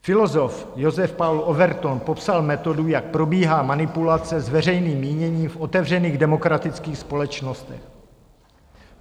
Filozof Joseph Paul Overton popsal metodu, jak probíhá manipulace s veřejným míněním v otevřených demokratických společnostech.